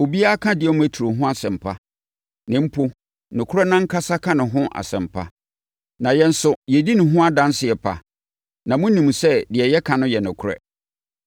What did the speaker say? Obiara ka Demetrio ho asɛm pa, na mpo nokorɛ no ankasa ka ne ho asɛm pa. Na yɛn nso yɛdi ne ho adanseɛ pa na monim sɛ deɛ yɛka no yɛ nokorɛ.